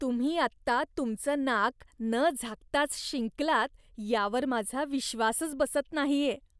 तुम्ही आत्ता तुमचं नाक न झाकताच शिंकलात यावर माझा विश्वासच बसत नाहीये.